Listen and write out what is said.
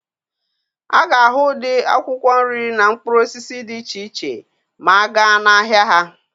A ga-ahụ ụdị akwụkwọ nri na mkpụrụ osisi dị iche iche ma a gaa n'ahịa ha.